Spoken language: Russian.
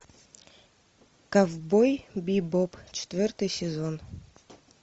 ковбой бибоп четвертый сезон